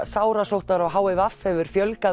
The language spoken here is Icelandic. sárasóttar og h i v hefur fjölgað